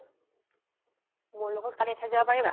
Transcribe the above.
মোৰ লগত কালি এঠাইত যাব পাৰিবা?